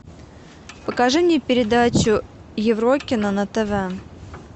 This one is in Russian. покажи мне передачу еврокино на тв